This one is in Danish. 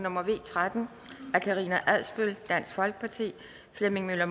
nummer v tretten af karina adsbøl flemming møller